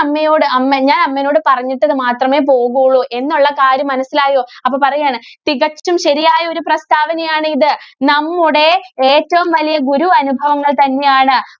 മ്മയോട് അമ്മെ ഞാന്‍ അമ്മെനോട്‌ പറഞ്ഞിട്ട് മാത്രമേ പോകുള്ളൂ എന്നുള്ള കാര്യം മനസ്സിലായോ? അപ്പോ പറയാണ് തികച്ചും ശരിയായ ഒരു പ്രസ്താവനയാണ് ഇത്. നമ്മുടെ ഏറ്റവും വലിയ ഗുരു അനുഭവങ്ങള്‍ തന്നെയാണ്.